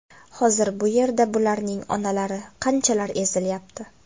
Hozir bu yerda bularning onalari qanchalar ezilyapti.